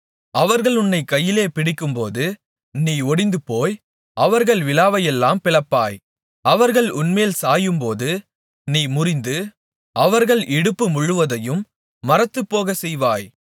அவர்கள் உன்னைக் கையிலே பிடிக்கும்போது நீ ஒடிந்துபோய் அவர்கள் விலாவையெல்லாம் பிளப்பாய் அவர்கள் உன்மேல் சாயும்போது நீ முறிந்து அவர்கள் இடுப்பு முழுவதையும் மரத்துப் போகச்செய்வாய்